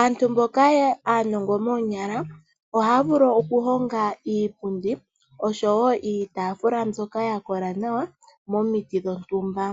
Aantu mboka aanongo moonyala ohaya vulu okuhonga iipundi oshowo iitaafula mbyoka ya kola nawa momiti dhontumba